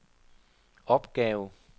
opgave